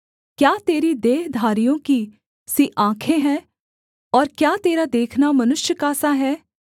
क्या तेरी देहधारियों की सी आँखें हैं और क्या तेरा देखना मनुष्य का सा है